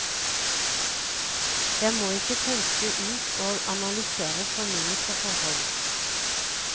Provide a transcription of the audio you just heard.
Jeg må ikke pønske ut og analysere for mye på forhånd.